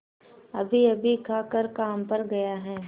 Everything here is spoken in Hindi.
अभीअभी खाकर काम पर गया है